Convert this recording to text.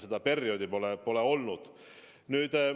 See periood on liiga lühike olnud.